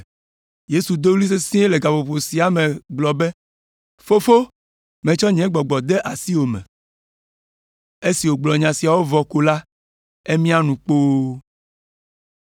Yesu do ɣli sesĩe le gaƒoƒo sia me gblɔ be, “Fofo, metsɔ nye gbɔgbɔ de asiwò me.” Esi wògblɔ nya siawo vɔ ko la, emia nu kpoo.